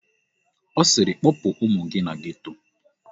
Ọ sịrị kpọpụ ụmụ gị na geto!